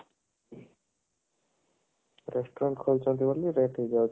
restaurant ଖୋଲିଛନ୍ତି ବୋଲି